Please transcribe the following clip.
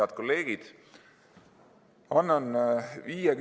Head kolleegid!